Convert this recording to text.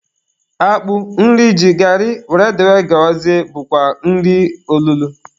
Akpụ, nri ji, gari wdg bụkwa nri olulo